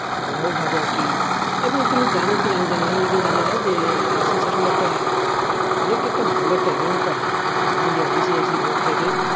some how হবে আরকি এবং তুমি জানো কি জানিনা ICC আসলে একটা অনেক একটা ভালো একটা amount পায় ইন্ডিয়া ICC amount থেকে।